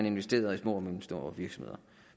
investerede i små og mellemstore virksomheder